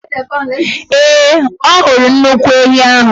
Ee, ọ hụrụ nnukwu ehi ahụ.